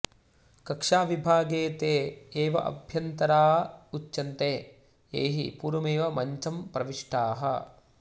कक्ष्याविभागे ते एव आभ्यन्तरा उच्यन्ते ये हि पूर्वमेव मञ्चं प्रविष्टाः